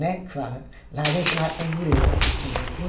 Né, que fala. Lá a gente chamava de tamborete. Um banquinho